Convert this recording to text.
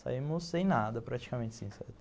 Saímos sem nada, praticamente assim, sabe.